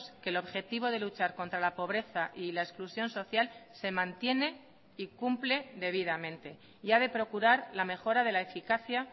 que el objetivo de luchar contra la pobreza y la exclusión social se mantiene y cumple debidamente y ha de procurar la mejora de la eficacia